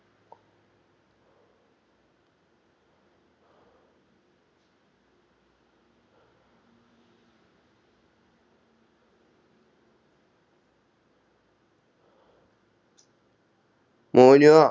മോനുഓ